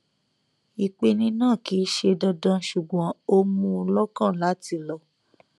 ìpeni náà kì í ṣe dandan ṣùgbọn ó mú un lọkàn láti lọ